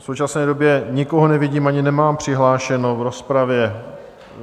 V současné době nikoho nevidím ani nemám přihlášeného v rozpravě.